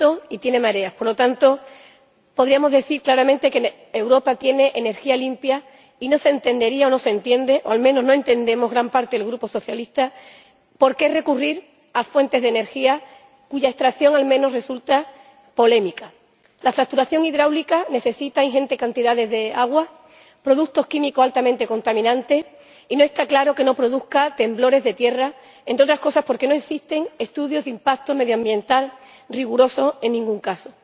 Señora Presidenta, Señorías, Europa tiene sol, tiene viento y tiene mareas por lo tanto, podríamos decir claramente que Europa tiene energía limpia, y no se entendería o no se entiende —o al menos no lo entendemos gran parte del Grupo Socialista— por qué recurrir a fuentes de energía cuya extracción al menos resulta polémica. La fracturación hidráulica necesita ingentes cantidades de agua, productos químicos altamente contaminantes, y no está claro que no produzca temblores de tierra, entre otras cosas porque no existen estudios de impacto medioambiental rigurosos en ningún caso.